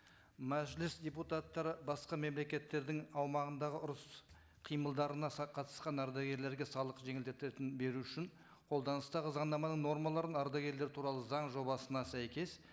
мәжіліс депутаттары басқа мемлекеттердің аумағындағы ұрыс қимылдарына қатысқан ардагерлерге салық жеңілдететін беру үшін қолданыстағы заңнаманың нормаларын ардагерлер туралы заң жобасына сәйкес